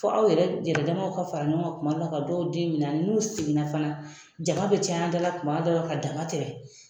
Fo aw yɛrɛ yɛrɛdamaw ka fara ɲɔgɔn kan kumadɔw la ka dɔw den minɛ ani mun seginna fana. Jama be caya an dala tuma dɔw la ka dama tɛmɛ.